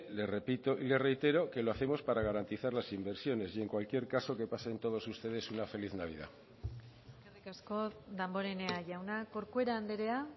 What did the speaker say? le repito y le reitero que lo hacemos para garantizar las inversiones y en cualquier caso que pasen todos ustedes una feliz navidad eskerrik asko damborenea jauna corcuera andrea